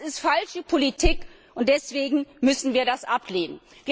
Das ist falsche Politik, und deswegen müssen wir das ablehnen.